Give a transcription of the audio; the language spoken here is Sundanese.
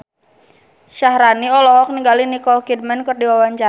Syaharani olohok ningali Nicole Kidman keur diwawancara